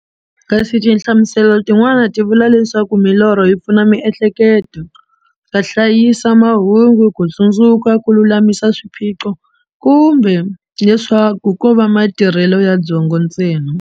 Kasi tinhlamuselo tin'wana ti vula leswaku milorho yi pfuna mihleketo ka hlayisa mahungu, kutsundzuka, kululamisa swiphiqo, kumbe leswaku kova matirhele ya byongo ntsena.